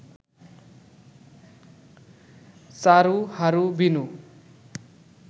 Charu Haru Binu